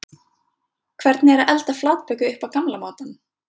Hvernig er að elda flatböku upp á gamla mátann?